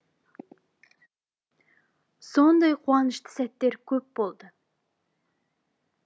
сондай қуанышты сәттер көп болды